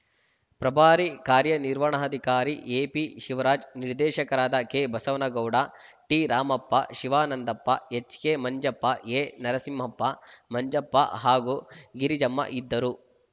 ಪ್ರಭಾರಿ ಕಾರ್ಯನಿರ್ವಹಣಾಧಿಕಾರಿ ಎಪಿ ಶಿವರಾಜ್‌ ನಿರ್ದೇಶಕರಾದ K Basavanagouda T Ramappa Shivanandappa HK Manjappa A Narasimhappa Manjappa ಹಾಗೂ ಗಿರಿಜಮ್ಮ ಇದ್ದರು